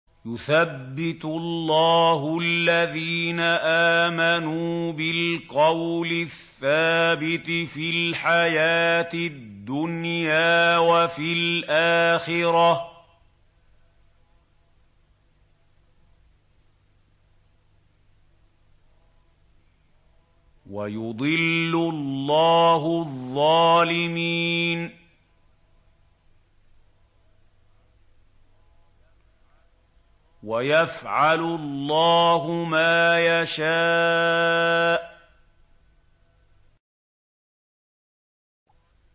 يُثَبِّتُ اللَّهُ الَّذِينَ آمَنُوا بِالْقَوْلِ الثَّابِتِ فِي الْحَيَاةِ الدُّنْيَا وَفِي الْآخِرَةِ ۖ وَيُضِلُّ اللَّهُ الظَّالِمِينَ ۚ وَيَفْعَلُ اللَّهُ مَا يَشَاءُ